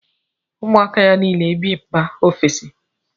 Ụmụ ya niile bi mba ofesi